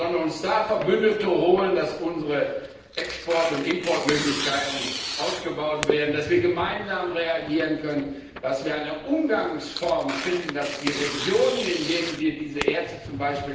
Wir sollten uns da Verbündete holen, damit unsere Export und Importmöglichkeiten ausgebaut werden, damit wir gemeinsam reagieren können, damit wir eine Umgangsform finden, damit die Regionen, in denen wir z.